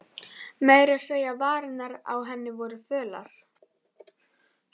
Meira að segja varirnar á henni voru fölar.